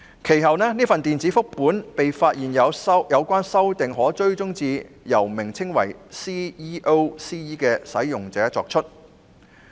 其後，這份電子複本的有關修訂，經"追蹤修訂"功能可發現是由名為 "CEO-CE" 的使用者作出。